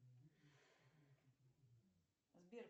сбер